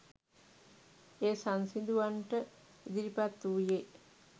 එය සංසිඳුවන්නට ඉදිරිපත් වූයේ